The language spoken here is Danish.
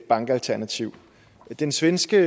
bankalternativ den svenske